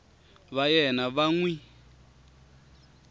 va yena va n wi